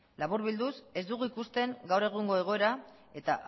laburbilduz ez dugu ikusten gaur egungo egoera eta